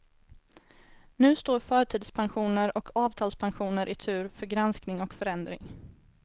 Nu står förtidspensioner och avtalspensioner i tur för granskning och förändring.